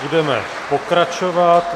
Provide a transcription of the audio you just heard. Budeme pokračovat.